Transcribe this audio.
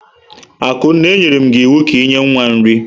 Akunna, e nyerem gi iwu ka i nye nwa nri!